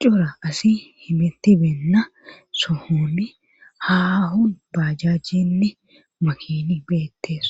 cora asi himetti beenna sohoni haahun baajajjinne makini beettees